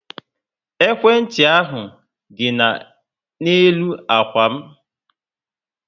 Ekwentị ahu dị na-elu ákwà m